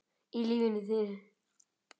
í lífi þínu